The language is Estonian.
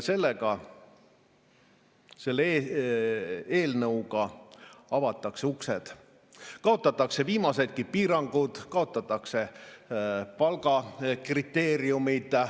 Selle eelnõuga avatakse uksed, kaotatakse viimasedki piirangud, kaotatakse palgakriteeriumid.